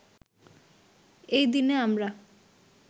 এই দিনে আমরা